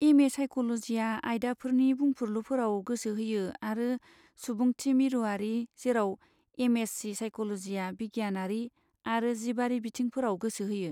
M A साइक'ल'जिआ आयदाफोरनि बुंफुरलुफोराव गोसो होयो आरो सुबुंथिमिरुआरि, जेराव एम एस सि साइक'ल'जिआ बिगियानारि आरो जिबारि बिथिंफोराव गोसो होयो।